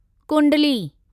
कुंडली